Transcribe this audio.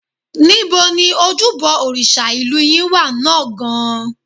Níbo ni ojúbọ òrìṣà ìlú yín wà náà gan-an?